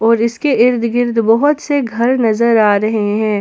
और इसके इर्द गिर्द बहोत से घर नजर आ रहे हैं।